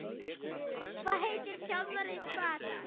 Hvað heitir þjálfari Hvatar?